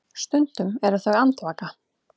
Stundum eru þau andvaka.